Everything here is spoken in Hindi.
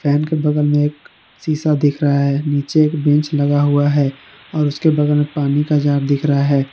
के बगल में एक शीशा दिख रहा है नीचे एक बेंच लगा हुआ है और उसके बगल में पानी का जार दिख रहा है।